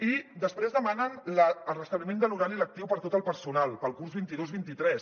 i després demanen el restabliment de l’horari lectiu per a tot el personal per al curs vint dos vint tres